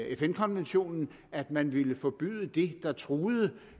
fn konventionen altså at man ville forbyde det der truede